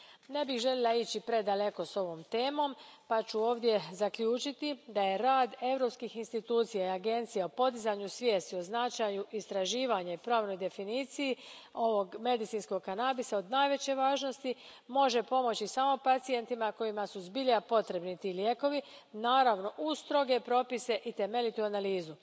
Ne bih željela ići predaleko s ovom temom pa ću ovdje zaključiti da je rad europskih institucija i agencija na podizanju svijesti o značaju istraživanja i pravnoj definiciji ovog medicinskog kanabisa od najveće važnosti i može pomoći samo pacijentima kojima su zbilja potrebni ti lijekovi, naravno, uz stroge propise i temeljitu analizu.